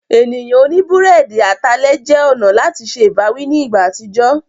Ènìyàn oní búrẹ́dì atalẹ̀ jẹ́ ọ̀nà láti se ìbáwí ní ìgbà àtijọ́.